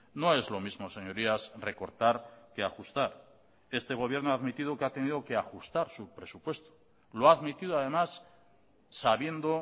no es lo mismo señorías recortar que ajustar este gobierno ha admitido que ha tenido que ajustar su presupuesto lo ha admitido además sabiendo